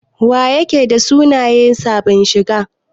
Wa yake da suna yan sabin shigan?